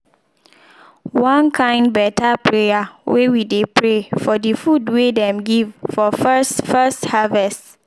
one kin beta prayer wey we dey pray for de food wey dem give for first first harvest.